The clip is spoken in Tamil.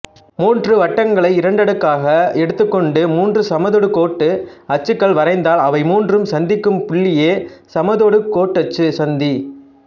மூன்று வட்டங்களை இரண்டிரண்டாக எடுத்துக்கொண்டு மூன்று சமதொடுகோட்டு அச்சுகள் வரைந்தால் அவை மூன்றும் சந்திக்கும் புள்ளியே சமதொடுகோட்டச்சுச் சந்தி